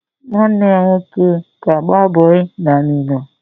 Nwanne ya nwoke ga-agba bọị na Mịna